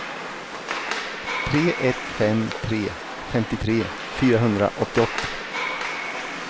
tre ett fem tre femtiotre fyrahundraåttioåtta